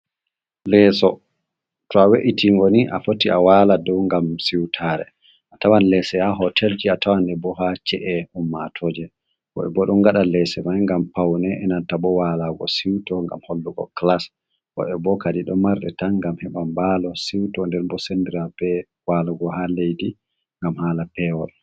Leeso. To a we’itin ngoni a foti a wala dow ngam siwtare. a tawan lese ha hotel ki a tawan e bo ha ce’e ummatoje bo e bo ɗon gada lese man ngam paune enanta bo walago siuto ngam hallugo kilas bo e bo kadi do marre tan ngam heɓam balo siuto nder bo sendira be walago ha leddi ngam hala pewol.